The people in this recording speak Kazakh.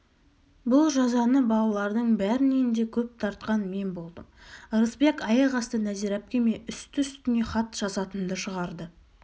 бұл жазаны балалардың бәрінен де көп тартқан мен болдым ырысбек аяқ асты нәзира әпкеме үсті-үстіне хат жазатынды шығарды